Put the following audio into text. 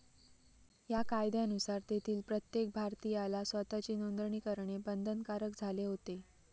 या कायद्यानुसार तेथील प्रत्येक भारतीयाला स्वताची नोदणी करणे बंधनकारक झाले होते.